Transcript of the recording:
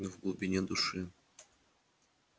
но в глубине души